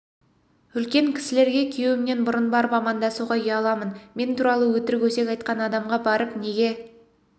үлкен кісілерге күйеуімнен бұрын барып амандасуға ұяламын мен туралы өтірік өсек айтқан адамға барып неге